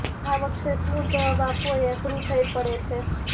આ વખતે શું જવાબ આપવો એ અઘરું થઇ પડે છે